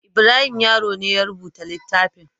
Ibrahim Yaro ne ya rubuta littafin.